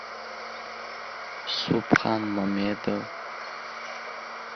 субхан мамедов